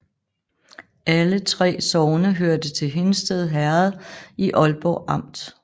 Alle 3 sogne hørte til Hindsted Herred i Ålborg Amt